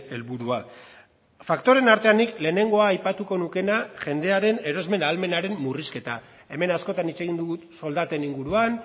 helburua faktoreen artean nik lehenengoa aipatuko nukeena jendearen erosmen ahalmenaren murrizketa hemen askotan hitz egin dugu soldaten inguruan